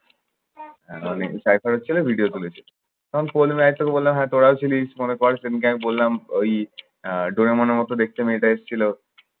video তুলেছে তখন পল্লবী আরেকটু বলল, হ্যা তোরাও ছিলিস হয়তো আমি বললাম ওই আহ ডরিমনের মতো দেখতে মেয়েটা এসেছিল